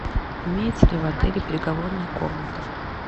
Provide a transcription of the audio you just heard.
имеется ли в отеле переговорная комната